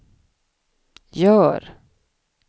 gör